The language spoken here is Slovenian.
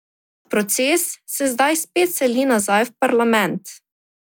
Proces se zdaj spet seli nazaj v parlament.